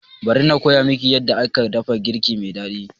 Bari na koya miki yadda aka dafa girki mai daɗi